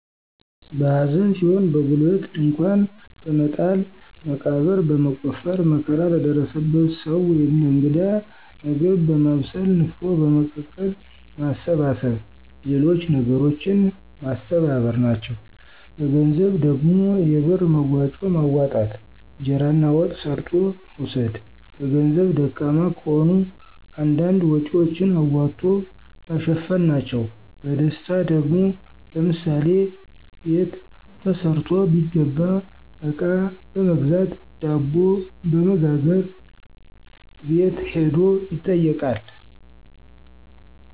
በሐዘን ሲሆን በጉልበት ድንኳን በመጣል መቃብር በመቆፈር መከራ ለደረሰበት ሰዉ ወይም ለእንግዳ ምግብ በማብሰል፣ ንፍሮ በመቀቀል፣ ማሰባሰብ ሌሎች ነገሮችን ማስተባበር፣ ናቸዉ። በገንዘብ ደግሞ የብር መዋጮ ማዋጣት፣ እንጀራና ወጥ ሰርቶ መውሰድ በገንዘብ ደካማ ከሆኑ አንዳንድ ወጭወችን አዋቶ መሸፈን ናቸዉ። በደስታ ደግሞ፦ ለምሳሌ በት ተሰርቶ ቢገባ አቃ በመግዛት፣ ዳቦ በመጋገር፣ አቤት ሂዶ ይጠይቃል።